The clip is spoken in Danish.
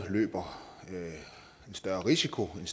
løber en større risiko end